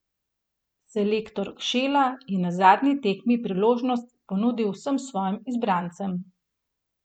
Selektor Kšela je na zadnji tekmi priložnost ponudil vsem svojim izbrancem.